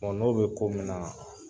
n'o bɛ ko min na .